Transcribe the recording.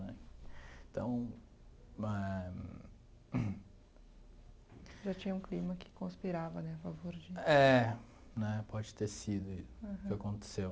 Né, então eh... Já tinha um clima que conspirava né a favor de... É, né, pode ter sido isso que aconteceu.